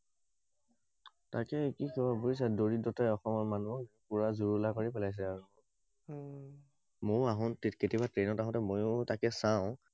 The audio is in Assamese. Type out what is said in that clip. তাকে কি কবা বুজিছা, দৰিদ্ৰতাই অসমৰ মানুহক পুৰা জুৰুলা কৰি পেলাইছে আৰু। ময়ো আহো, কেতিয়াবা ট্ৰেইনত আহোঁতে ময়ো তাকে চাওঁI